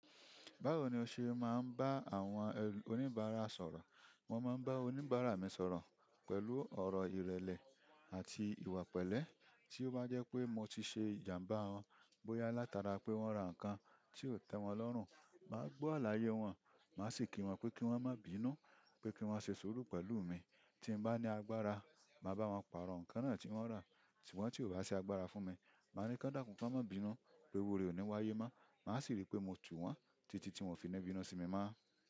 Báwo ni o ṣe máa ń bá àwọn oníbàárà sọ̀rọ̀? Mo máa ń bá oníbàárà mi sọ̀rọ̀ pẹ̀lú ọ̀rọ̀ ìrẹ̀lẹ̀ àti ìwà pẹ̀lẹ́. Tí ó bá jẹ́ pé mo ti ṣe ìjàǹbá wọn, bóyá látara pé wọ́n ra nǹkan tí ò tẹ́ wọn lọ́rùn, màá gbọ́ àlàyé wọn, màá sì kí wọn pé kí wọ́n má bí i inú, pé kí wọ́n ṣe suru pẹ̀lú mi. Tin ba ni agbára ma bawon paro nǹkan na ti won ra ṣùgbọ́n ti ko ba si agbára fún mi ma nipe kan dakun pe iru ree koni wáyé mo màá sì ri pé mo tù wọ́n títí tí wọ́n fi nì bínú sí mi mọ́.